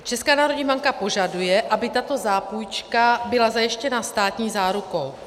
Česká národní banka požaduje, aby tato zápůjčka byla zajištěna státní zárukou.